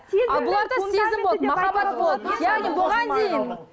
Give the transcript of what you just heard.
ал бұларда сезім болды махаббат болды яғни бұған дейін